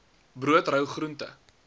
brood rou groente